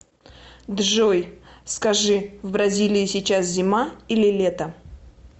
джой скажи в бразилии сейчас зима или лето